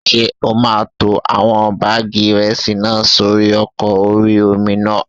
Ṣé o máa tó àwọn báàgì ìrẹsì náà sórí ọkọ̀ orí-omi náà?